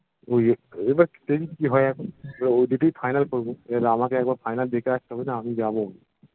উহ ইয়ে এবার দেখি কি হয় এখন ওই ওদিকেই final করবো এবার আমাকে একবার final দেখে আসতে হবে না আমিই যাবো